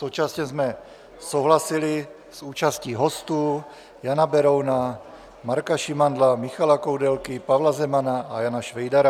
Současně jsme souhlasili s účastí hostů: Jana Berouna, Marka Šimandla, Michala Koudelky, Pavla Zemana a Jana Švejdara.